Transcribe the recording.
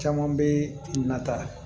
Caman bɛ nata